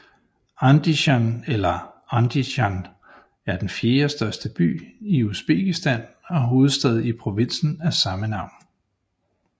Andisjan eller Andijan er den fjerde største by i Usbekistan og hovedstad i provinsen af samme navn